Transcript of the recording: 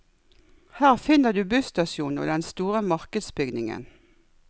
Her finner du busstasjonen og den store markedsbygningen.